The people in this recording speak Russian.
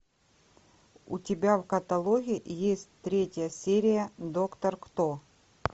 у тебя в каталоге есть третья серия доктор кто